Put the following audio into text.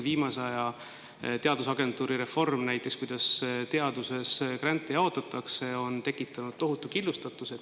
Viimase aja teadusagentuuri reform, näiteks see, kuidas teaduses grante jaotatakse, on tekitanud tohutu killustatuse.